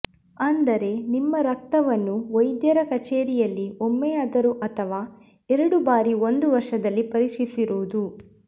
ಅಂದರೆ ನಿಮ್ಮ ರಕ್ತವನ್ನು ವೈದ್ಯರ ಕಚೇರಿಯಲ್ಲಿ ಒಮ್ಮೆಯಾದರೂ ಅಥವಾ ಎರಡು ಬಾರಿ ಒಂದು ವರ್ಷದಲ್ಲಿ ಪರೀಕ್ಷಿಸಿರುವುದು